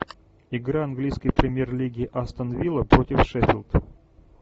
игра английской премьер лиги астон вилла против шеффилд